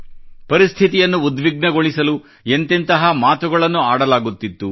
ಪರಿಸ್ಥಿತಿಯನ್ನು ಉದ್ವಿಗ್ನಗೊಳಿಸಲು ಎಂತೆಂತಹ ಮಾತುಗಳನ್ನು ಆಡಲಾಗುತ್ತಿತ್ತು